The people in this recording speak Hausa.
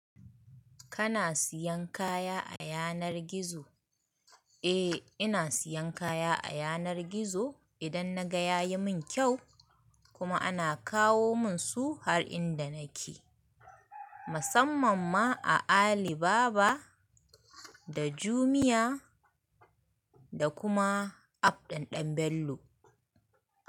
Kana siyan kaya a yanar gizo? Eh ina siyan kaya a yanar gizo idan naga yayi min kyau kuma ana kawo mun su har inda nake. Musamman ma a Alibaba da Jumia da kuma App ɗin Ɗan Bello.